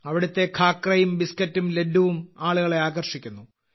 ഇവിടുത്തെ ഖാക്രയും ബിസ്കറ്റും ലഡ്ഡുവും ആളുകളെ ആകർഷിക്കുന്നു